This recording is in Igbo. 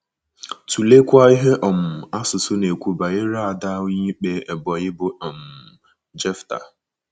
Tụleekwa ihe um asusụ na - ekwu banyere ada Onyeikpe Ebonyi bụ́ um Jefta.